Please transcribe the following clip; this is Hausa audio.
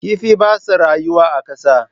Kifi ba sa rayuwa a ƙasa.